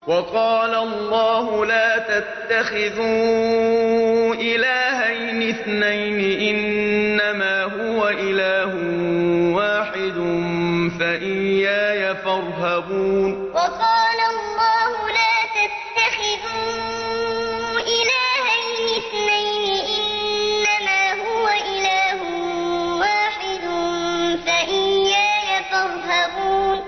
۞ وَقَالَ اللَّهُ لَا تَتَّخِذُوا إِلَٰهَيْنِ اثْنَيْنِ ۖ إِنَّمَا هُوَ إِلَٰهٌ وَاحِدٌ ۖ فَإِيَّايَ فَارْهَبُونِ ۞ وَقَالَ اللَّهُ لَا تَتَّخِذُوا إِلَٰهَيْنِ اثْنَيْنِ ۖ إِنَّمَا هُوَ إِلَٰهٌ وَاحِدٌ ۖ فَإِيَّايَ فَارْهَبُونِ